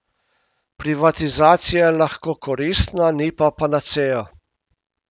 Privatizacija je lahko koristna, ni pa panacea.